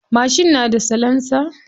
Mashin na da salansa.